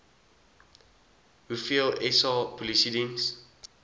hoeveel sa polisiediens